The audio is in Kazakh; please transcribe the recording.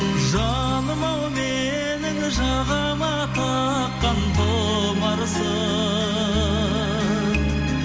жаным ау менің жағама таққан тұмарсың